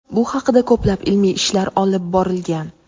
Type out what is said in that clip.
Bu haqida ko‘plab ilmiy ishlar olib borilgan.